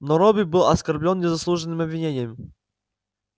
но робби был оскорблён незаслуженным обвинением